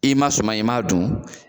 I ma sumɔn in i ma dun?